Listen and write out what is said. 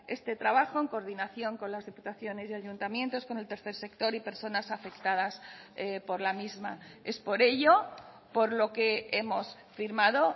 este trabajo en coordinación con las diputaciones y ayuntamientos con el tercer sector y personas afectadas por la misma es por ello por lo que hemos firmado